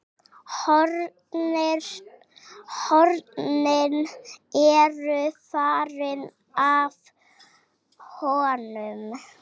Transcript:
Hornin eru farin af honum.